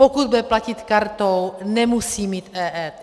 Pokud bude platit kartou, nemusí mít EET.